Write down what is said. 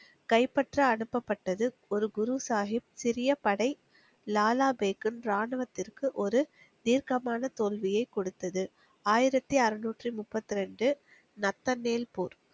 கைப்பற்ற அனுப்பப்பட்டது. ஒரு குரு சாகிப் சிறிய படை லாலா பேக்கின் ராணுவத்திற்கு ஒரு தீர்க்கமான தோல்வியைக் கொடுத்தது. ஆயிரத்து அருநூற்றி முப்பைத்திரண்டு, நத்தன்மேல் போர்